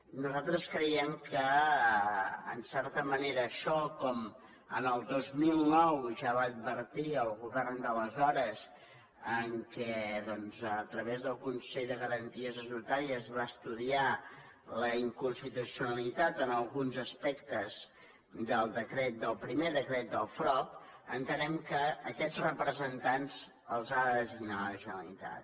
nosaltres creiem que en certa ma·nera això com al dos mil nou ja va advertir el govern d’ales·hores que a través del consell de garanties estatu·tàries es va estudiar la inconstitucionalitat en alguns aspectes del decret del primer decret del frob en·tenem que aquests representants els ha de designar la generalitat